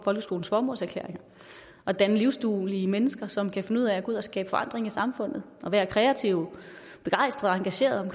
folkeskolens formålserklæring at danne livsduelige mennesker som kan finde ud af at gå ud og skabe forandring i samfundet og være kreative begejstrede og engagerede